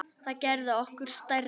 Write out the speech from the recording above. Það gerði okkur stærri.